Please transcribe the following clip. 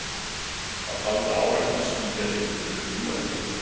Hann taldi að árekstur skýja ylli þrumum og eldingum.